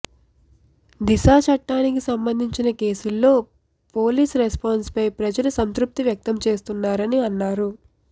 దిశ చట్టానికి సంబంధించిన కేసుల్లో పోలీస్ రెస్పాన్స్ పై ప్రజలు సంతృప్తి వ్యక్తం చేస్తున్నారని అన్నారు